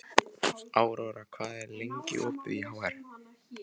Aurora, hvað er lengi opið í HR?